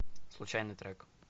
случайный трек